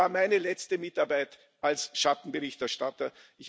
Es war meine letzte Mitarbeit als Schattenberichterstatter.